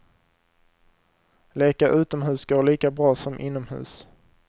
Leka utomhus går lika bra som inomhus.